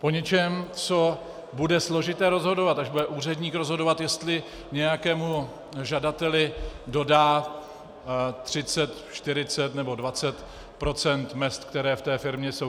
Po něčem, co bude složité rozhodovat, až bude úředník rozhodovat, jestli nějakému žadateli dodá 30, 40 nebo 20 % mezd, které v té firmě jsou.